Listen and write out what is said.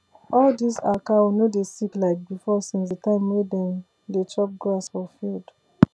all dis our cow no dey sick like before since the time wey dem dey chop grass for field